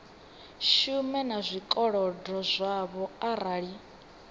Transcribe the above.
shuma na zwikolodo zwavho arali